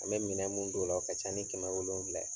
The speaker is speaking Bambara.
An mɛ minɛ mun don o la, o ka ca ni kɛmɛ wolonfila ye